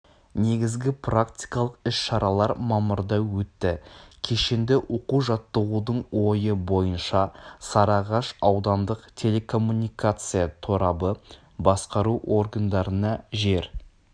негізгі практикалық іс-шаралар мамырда өтті кешенді оқу-жаттығудың ойы бойынша сарыағаш аудандық телекоммуникация торабы басқару органдарына жер